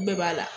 Bɛɛ b'a la